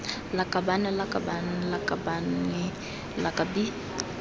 lakabaaan lakabaaan lakabane lak bi